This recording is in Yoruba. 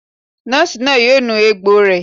Nọ́ọ̀sì náà yóò nu egbò rẹ̀